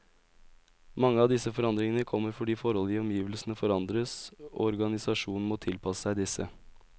Mange av disse forandringene kommer fordi forhold i omgivelsene forandres, og organisasjonen må tilpasse seg disse.